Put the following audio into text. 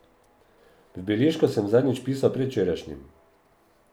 V beležko sem zadnjič pisal predvčerajšnjim.